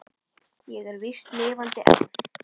Ég er víst lifandi enn!